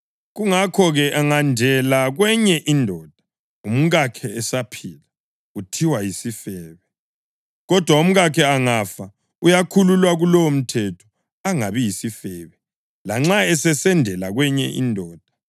Kungakho-ke, angendela kwenye indoda umkakhe esaphila uthiwa yisifebe. Kodwa umkakhe angafa, uyakhululwa kulowomthetho angabi yisifebe, lanxa esesendela kwenye indoda.